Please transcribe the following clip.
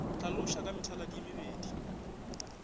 hlaloša ka methaladi ye mebedi